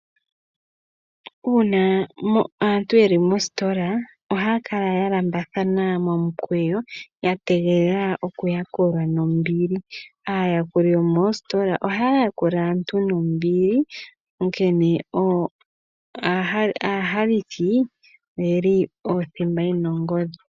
Uuna aantu yeli mositola ohakala yalambathana momukwewo yatengelela okuyakulwa nombili ,ayakuli yomositola ohayakula aantu nombili Onkene ahalithi oyeli oothimba yena ongodhi.